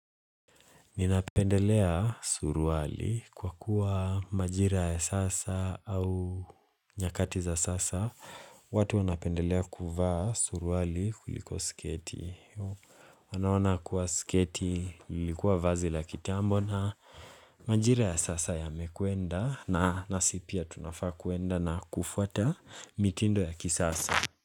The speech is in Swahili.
Ninapendelea suruwali kwa kuwa majira ya sasa au nyakati za sasa. Watu wanapendelea kuvaa suruwali kuliko sketi. Wanaona kuwa sketi lilikuwa vazi la kitambo na majira ya sasa yamekwenda na nasi pia tunafaa kuenda na kufuata mitindo ya kisasa.